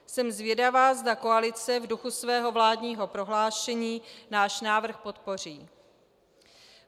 Jsem zvědavá, zda koalice v duchu svého vládního prohlášení náš návrh podpoří.